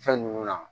Fɛn ninnu na